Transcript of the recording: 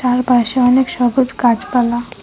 তার পাশে অনেক সবুজ গাছপালা।